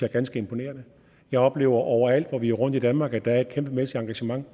er ganske imponerende jeg oplever overalt hvor vi er rundt i danmark at der er et kæmpemæssigt engagement